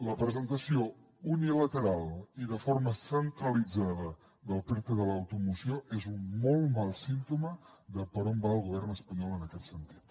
la presentació unilateral i de forma centralitzada del perte de l’automoció és un molt mal símptoma de per on va el govern espanyol en aquest sentit